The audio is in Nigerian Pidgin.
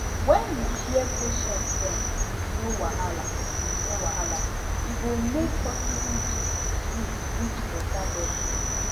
when you hear patient dem wit no wahala wit no wahala e go make hospital gist sweet reach better level